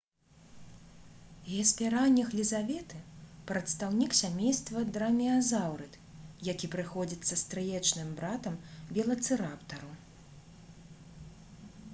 геспераніх лізаветы прадстаўнік сямейства драмеазаўрыд які прыходзіцца стрыечным братам велацыраптару